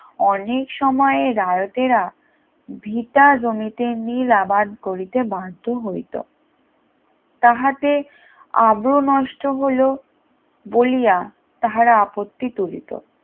অনেক সময়ে রায়তেরা ভিতা জমিতা নীল আবাদ করিতে বাধ্য হই তাহাতে আব্রু নষ্ট হলেও বলিয়া তাহারা আপত্তি তুলিত